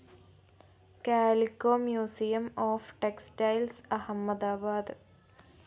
calico museum of textiles Ahmedabad